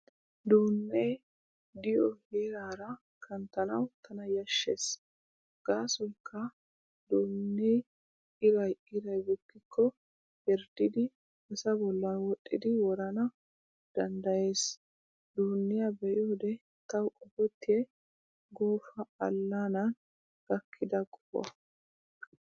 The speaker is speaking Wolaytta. Duunnee diyoo heeraara kanttanawu tana yashshees gaasoykka duunnee iray iray bukkikko herddidi asaa bollan wodhdhidi worana danddayees. Dunniyaa be'iyoode tawu qopettiyay Goofa allaanan gakkida qohuwaa.